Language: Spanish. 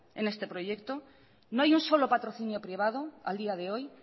en este proyecto no hay un solo patrocinio privado al día de hoy